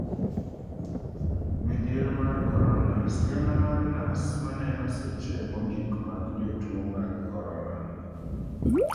Midhiero mar korona: Sigana mar nas maneno seche mogik mag jotuwo mag corona